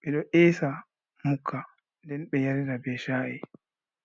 ɓe ɗo esa mukka nden ɓe yarira be sha’i